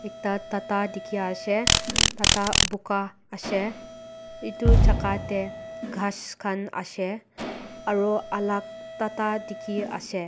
ekta tata dekhi ase tata buga ase etu jaka ase ghas khan asa eru alak tata dekhi ase.